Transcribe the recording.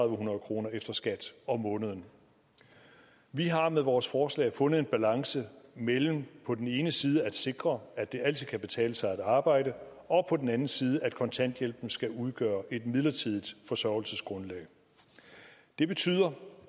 hundrede kroner efter skat om måneden vi har med vores forslag fundet en balance mellem på den ene side at sikre at det altid kan betale sig at arbejde og på den anden side at kontanthjælpen skal udgøre et midlertidigt forsørgelsesgrundlag det betyder